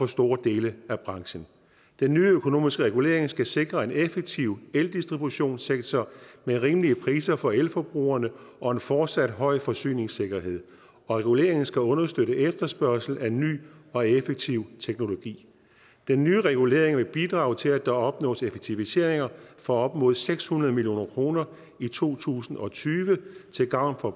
store dele af branchen den nye økonomiske regulering skal sikre en effektiv eldistributionssektor med rimelige priser for elforbrugerne og en fortsat høj forsyningssikkerhed reguleringen skal understøtte efterspørgsel af ny og effektiv teknologi den nye regulering vil bidrage til at der opnås effektiviseringer for op mod seks hundrede million kroner i to tusind og tyve til gavn for